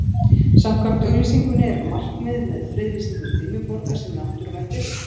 Samkvæmt auglýsingunni er markmiðið með friðlýsingu Dimmuborga sem náttúruvættis